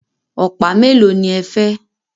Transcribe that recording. Ọ̀pá mélòó ní ẹ fẹ́?